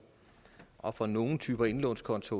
og for nogle typer indlånskonti